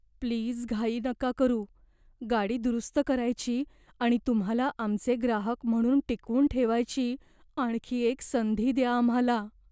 Please घाई नका करू. गाडी दुरुस्त करायची आणि तुम्हाला आमचे ग्राहक म्हणून टिकवून ठेवायची आणखी एक संधी द्या आम्हाला.